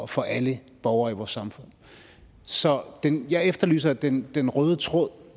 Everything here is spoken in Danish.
for alle borgere i vores samfund så jeg efterlyser den den røde tråd